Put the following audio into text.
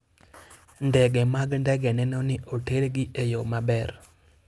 Ndege mag ndege neno ni otergi e yo maber.